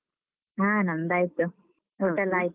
ಹಾ ನಮ್ದಾಯ್ತು. ಊಟೆಲ್ಲಾ ಆಯ್ತಾ?